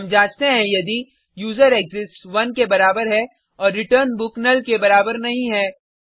हम जांचते हैं यदि यूजरेक्सिस्ट्स 1 के बराबर है और return book नुल के बराबर नहीं है